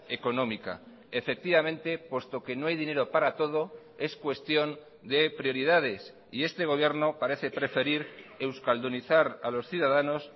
económica efectivamente puesto que no hay dinero para todo es cuestión de prioridades y este gobierno parece preferir euskaldunizar a los ciudadanos